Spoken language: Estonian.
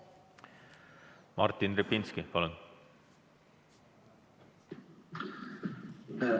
Martin Repinski, palun!